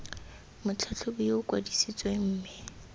motlhatlhobi yo o kwadisitsweng mme